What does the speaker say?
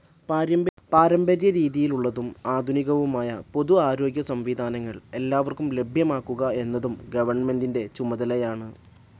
പാരമ്പര്യരീതിയിലുള്ളതും ആധുനികവുമായ പൊതു ആരോഗ്യ സംവിധാനങ്ങൾ എല്ലാവർക്കും ലഭ്യമാക്കുക എന്നതും ഗവണ്മെന്റിന്റെ ചുമതലയാണ്.